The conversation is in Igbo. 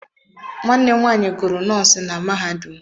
Nwanne m nwanyị gụrụ nọọsịn na mahadum.